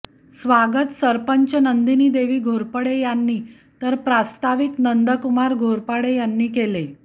स्वागत सरपंच नंदिनीदेवी घोरपडे यांनी तर प्रास्ताविक नंदकुमार घोरपडे यांनी केले